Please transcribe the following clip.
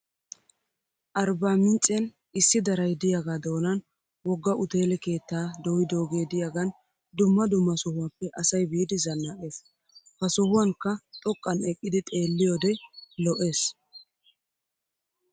Arbaaminccen issi daray diyaga doonan wogga uteele keettaa dooyidoogee diyaagan dumma dumma sohuwaappe asay biidi zannaqes. Ha sohuwankka xoqqan eqqidi xeelliyoode lo'es.